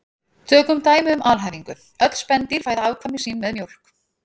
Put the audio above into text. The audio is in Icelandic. Tökum dæmi um alhæfingu: Öll spendýr fæða afkvæmi sín með mjólk